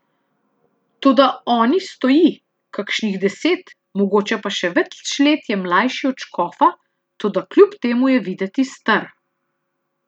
Toda oni stoji, kakšnih deset, mogoče pa še več let je mlajši od škofa, toda kljub temu je videti star.